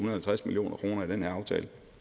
og halvtreds million kroner i den her aftale